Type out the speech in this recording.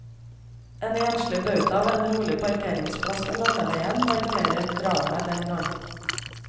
En enslig bauta ved en rolig parkeringsplass ved landeveien markerer dramaet den gang.